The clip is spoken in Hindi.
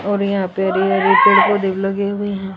और यहां पे हरे हरे पेड़ पौधे लगे हुए है।